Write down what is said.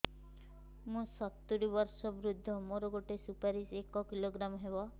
ମୁଁ ସତୂରୀ ବର୍ଷ ବୃଦ୍ଧ ମୋ ଗୋଟେ ସୁପାରି ଏକ କିଲୋଗ୍ରାମ ହେବ